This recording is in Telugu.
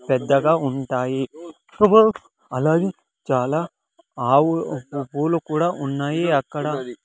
పెద్దగా ఉంటాయి అలాగే చాలా ఆవులు పు పూలు కూడా ఉన్నాయి అక్కడ--